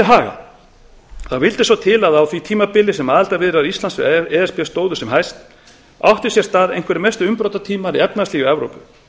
til haga vildi svo til að á því tímabili sem aðildarviðræður íslands við e s b stóðu sem hæst áttu sér stað einhverjir mestu umbrotatímar í efnahagslífi evrópu